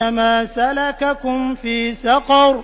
مَا سَلَكَكُمْ فِي سَقَرَ